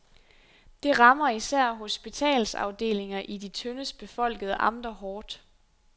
Det rammer især hospitalsafdelinger i de tyndest befolkede amter hårdt.